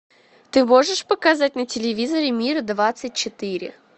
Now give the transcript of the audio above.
ты можешь показать на телевизоре мир двадцать четыре